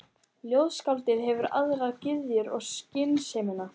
Ljóðskáldið hefur aðrar gyðjur en skynsemina.